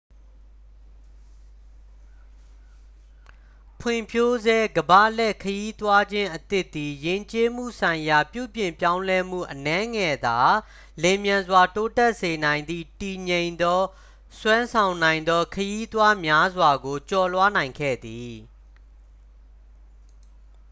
ဖွံ့ဖြိုးဆဲ ကမ္ဘာလှည့် ခရီးသွားခြင်းအသစ်သည် ယဉ်ကျေးမှုဆိုင်ရာပြုပြင်ပြောင်းလဲမှု အနည်းငယ်သာ လျင်မြန်စွာ တိုးတက်စေနိုင်သည့် တည်ငြိမ်သော စွမ်းဆောင်နိုင်သော ခရီးသွားများစွာကို ကျော်လွှားနိုင်ခဲ့သည်